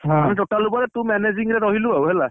ହଁ, ମାନେ total ଉପରେ ତୁ managing ରେ ରହିଲୁ ଆଉ ହେଲା।